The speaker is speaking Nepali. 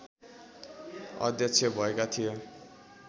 अध्यक्ष भएका थिए